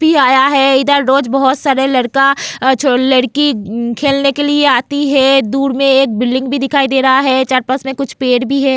भी आया है इधर रोज बहुत सारे लड़का लड़की खेलने के लिए आती है दूर में एक बिल्डिंग भी दिखाई दे रहा है चार पांच में कुछ पेड़ भी है.